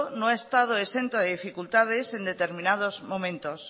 no ha estado exento de dificultades en determinados momentos